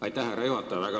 Aitäh, härra juhataja!